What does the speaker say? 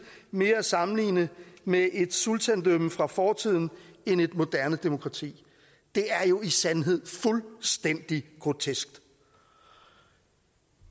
mere er at sammenligne med et sultandømme fra fortiden end et moderne demokrati det er jo i sandheden fuldstændig grotesk